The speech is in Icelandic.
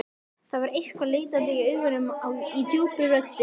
Það var eitthvað leitandi í augunum, í djúpri röddinni.